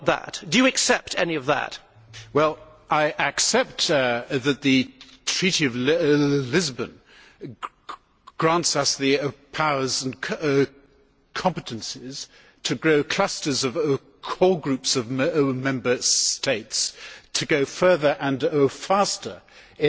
I accept that the Treaty of Lisbon grants us the powers and competences to grow clusters of core groups of Member States to go further and faster in building up